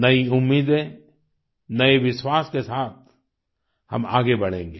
नई उम्मीदें नये विश्वास के साथ हम आगे बढ़ेंगे